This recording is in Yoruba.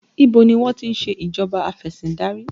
Ibo ni wọ́n ti ń ṣe ìjọba afesindari?